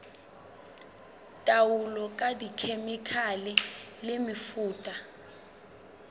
taolo ka dikhemikhale le mefuta